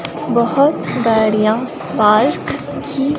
बहुत गाडिया पार्क की--